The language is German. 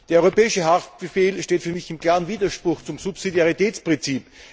Der europäische Haftbefehl steht für mich in klarem Widerspruch zum Subsidiaritätsprinzip.